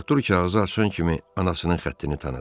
Artur kağızı açan kimi anasının xəttini tanıdı.